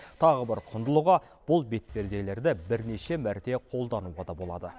тағы бір құндылығы бұл бетперделерді бірнеше мәрте қолдануға да болады